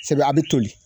Sɛbɛ a bɛ toli